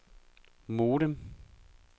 modem